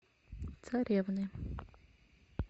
царевны